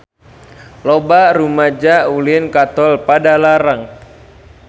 Loba rumaja ulin ka Tol Padalarang